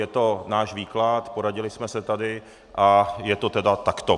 je to náš výklad, poradili jsme se tady a je to tedy takto.